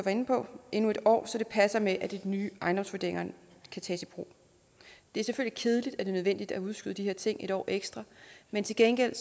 var inde på endnu en år så det passer med at de nye ejendomsvurderinger kan tages i brug det er selvfølgelig kedeligt at det er nødvendigt at udskyde de her ting en år ekstra men til gengæld